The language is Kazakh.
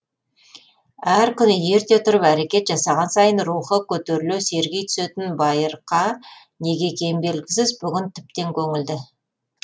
әр күні ерте тұрып әрекет жасаған сайын рухы көтеріле серги түсетін байырқа неге екені белгісіз бүгін тіптен көңілді